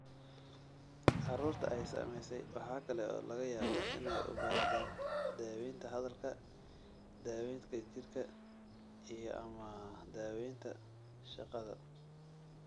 Carruurta ay saamaysay waxa kale oo laga yaabaa inay u baahdaan daawaynta hadalka, daawaynta jidhka, iyo/ama daawaynta shaqada.